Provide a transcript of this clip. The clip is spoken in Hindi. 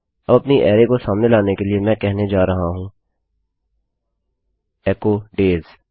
अब अपनी अरैको सामने लाने के लिए मैं कहने जा रहा हूँ एचो डेज